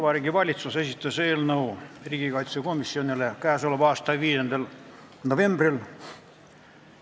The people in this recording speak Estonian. Vabariigi Valitsus esitas eelnõu riigikaitsekomisjonile k.a 5. novembril.